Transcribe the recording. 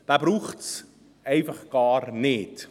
» Diesen braucht es einfach gar nicht.